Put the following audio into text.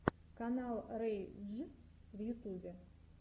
канал рэй дж в ютубе